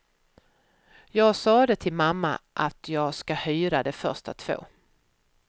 Jag sade till mamma att jag ska hyra de första två.